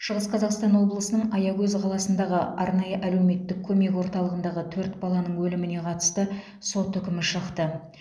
шығыс қазақстан облысының аягөз қаласындағы арнайы әлеуметтік көмек орталығындағы төрт баланың өліміне қатысты сот үкімі шықты